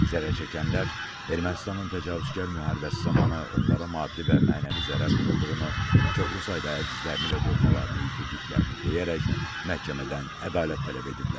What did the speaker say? Zərərçəkənlər Ermənistanın təcavüzkar müharibəsi zamanı onlara maddi və mənəvi zərər vurulduğunu, çoxlu sayda əzizlərini və doğmalarını itirdiklərini deyərək, məhkəmədən ədalət tələb ediblər.